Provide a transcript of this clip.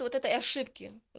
ну вот этой ошибки вот